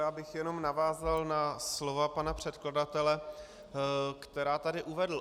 Já bych jen navázal na slova pana předkladatele, která tu uvedl.